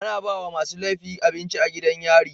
Ana bawa masu lefi abinci a gidan yari